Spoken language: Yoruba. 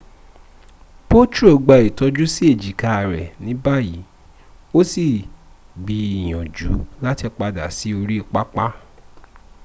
potro gba itoju si ejika re nibayi o si gbiyanju lati pada si ori papa